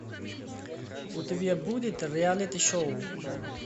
у тебя будет реалити шоу